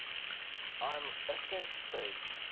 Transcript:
lm ascent stage